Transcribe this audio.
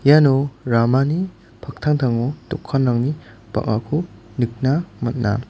iano ramani paktangtango dokanrangni bang·ako nikna man·a.